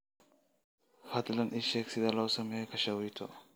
fadlan ii sheeg sida loo sameeyo kaashawiito